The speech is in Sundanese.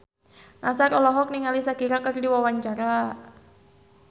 Nassar olohok ningali Shakira keur diwawancara